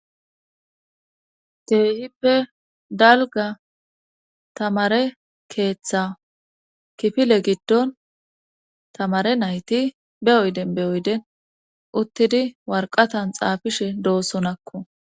Keehippe dalga tamare keeththa kifile giddon tamare nayti be oyden be oyden uttidi warqatan xaafishe doosonakko